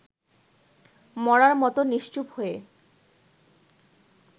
মড়ার মতো নিশ্চুপ হয়ে